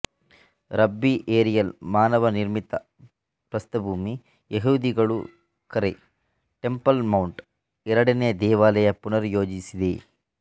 ರಬ್ಬಿ Ariel ಮಾನವ ನಿರ್ಮಿತ ಪ್ರಸ್ಥಭೂಮಿ ಯಹೂದಿಗಳು ಕರೆ ಟೆಂಪಲ್ ಮೌಂಟ್ ಎರಡನೇ ದೇವಾಲಯ ಪುನರ್ ಯೋಜಿಸಿದೆ